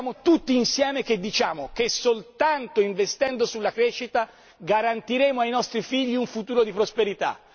Siamo tutti insieme a dire che soltanto investendo sulla crescita garantiremo ai nostri figli un futuro di prosperità.